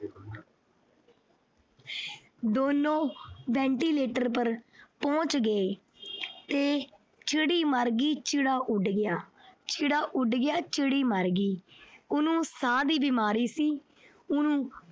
ਦੋਨੋਂ ventilator ਪਰ ਪਹੁੰਚ ਗਏ ਤੇ ਚਿੜੀ ਮਰ ਗਈ ਤੇ ਚਿੜਾ ਉਡ ਗਿਆ। ਚਿੜਾ ਉਡ ਗਿਆ। ਚਿੜੀ ਮਰ ਗਈ। ਉਹਨੂੰ ਸਾਹ ਦੀ ਬੀਮਾਰੀ ਸੀ। ਉਹਨੂੰ